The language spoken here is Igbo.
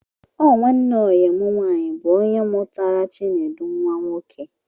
Ọ nwanne oyi mụ nwaanyị bụ ónyé mụtara Chinedu nwa nwoke